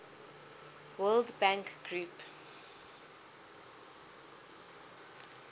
world bank group